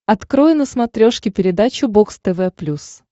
открой на смотрешке передачу бокс тв плюс